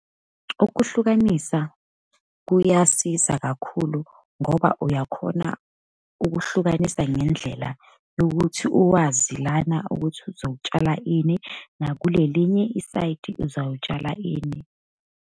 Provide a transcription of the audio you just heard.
Ukuhlukanisa kuyasiza kakhulu, ngoba uyakhona ukuhlukanisa ngendlela yokuthi uwazi lana ukuthi uzotshala ini, nakulelinye isayidi uzawutshala ini.